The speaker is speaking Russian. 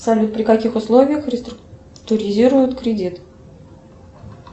салют при каких условиях реструктуризируют кредит